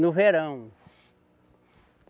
No verão.